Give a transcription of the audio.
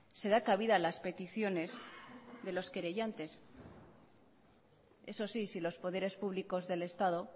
se da cabida a las peticiones de los querellantes eso sí si los poderes públicos del estado